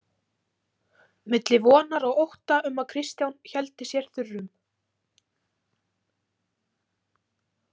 Milli vonar og ótta um að Kristján héldi sér þurrum.